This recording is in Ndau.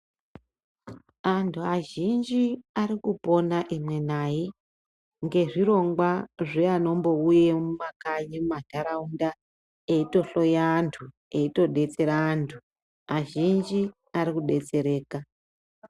Anthu azhinji ari kupona imwi nayi, ngezvirongwa zveanombouye mumakanyi, mumantharaunda ,eitohloya anthu, eitodetsera anthu, azhinji ari kudetsereka.